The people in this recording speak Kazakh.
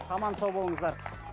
аман сау болыңыздар